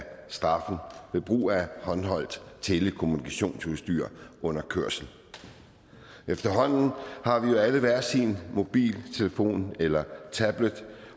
straffen for brug af håndholdt telekommunikationsudstyr under kørsel efterhånden har vi jo alle hver sin mobiltelefon eller tablet